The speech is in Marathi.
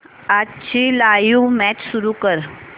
आजची लाइव्ह मॅच सुरू कर